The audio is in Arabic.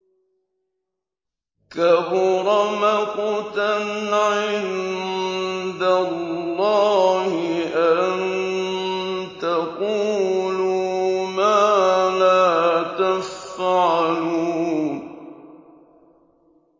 كَبُرَ مَقْتًا عِندَ اللَّهِ أَن تَقُولُوا مَا لَا تَفْعَلُونَ